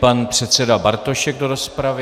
Pan předseda Bartošek do rozpravy.